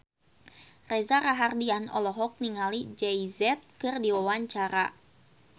Reza Rahardian olohok ningali Jay Z keur diwawancara